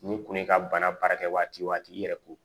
Ni kun ye ka bana baara kɛ waati o waati i yɛrɛ ko